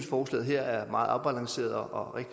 forslaget her er meget afbalanceret og